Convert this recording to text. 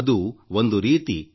ಅದು ಒಂದು ರೀತಿ ವಿ